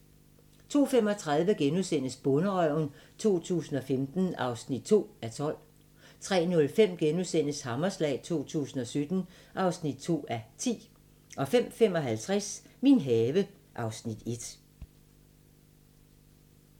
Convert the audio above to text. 02:35: Bonderøven 2015 (2:12)* 03:05: Hammerslag 2017 (2:10)* 05:55: Min have (Afs. 1)